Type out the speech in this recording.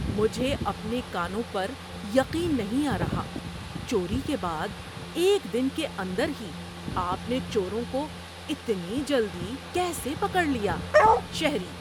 مجھے اپنے کانوں پر یقین نہیں آ رہا۔ چوری کے بعد ایک دن کے اندر ہی آپ نے چوروں کو اتنی جلدی کیسے پکڑ لیا؟ (شہری)